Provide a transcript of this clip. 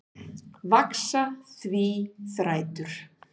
Vaxa því þrætur